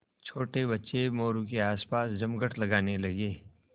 छोटे बच्चे मोरू के आसपास जमघट लगाने लगे